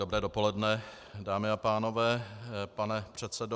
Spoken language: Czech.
Dobré dopoledne, dámy a pánové, pane předsedo.